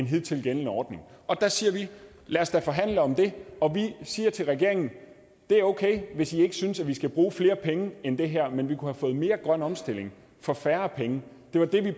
hidtil gældende ordning og der siger vi lad os da forhandle om det og vi siger til regeringen det er okay hvis i ikke synes at vi skal bruge flere penge end det her men vi kunne have fået mere grøn omstilling for færre penge det var det vi